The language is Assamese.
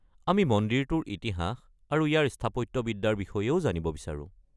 আমি মন্দিৰটোৰ ইতিহাস আৰু ইয়াৰ স্থাপত্যবিদ্যাৰ বিষয়েও জানিব বিচাৰোঁ।